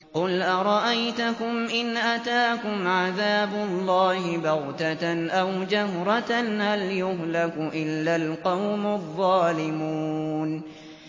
قُلْ أَرَأَيْتَكُمْ إِنْ أَتَاكُمْ عَذَابُ اللَّهِ بَغْتَةً أَوْ جَهْرَةً هَلْ يُهْلَكُ إِلَّا الْقَوْمُ الظَّالِمُونَ